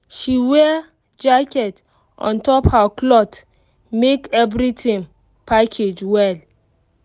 she wear jacket on top her cloth make everything package well